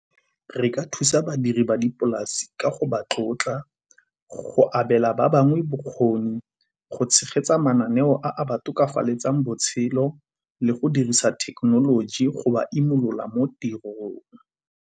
Re ka thusa badiri ba dipolase ka go ba tlotla, go abela ba bangwe bokgoni, go tshegetsa mananeo a ba tokafatsang botshelo le go dirisa thekenoloji go ba imolola mo tirong.